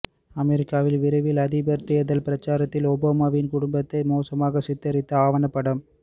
அமெரிக்காவில் விரைவில் அதிபர் தேர்தல் பிரசாரத்தில் ஓபாமாவின் குடும்பத்தை மோசமாக சித்தரித்து ஆவணப் படம்